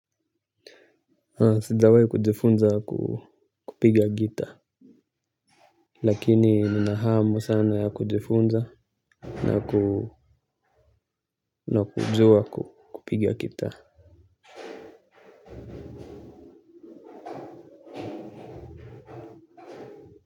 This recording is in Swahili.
Sijawahi kujifunza kupiga gita. Lakini nina hamu sana ya kujifunza na na kujua kupiga gitaa.